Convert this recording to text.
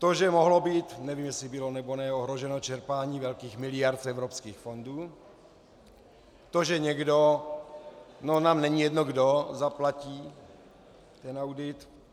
To, že mohlo být, nevím, jestli bylo, nebo ne, ohroženo čerpání velkých miliard z evropských fondů, to, že někdo, nám není jedno kdo, zaplatí ten audit.